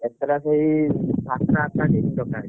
କେତେ ଟା ସେଇ ସାତ ଆଠଟା team ବଛା ହେଇଛି।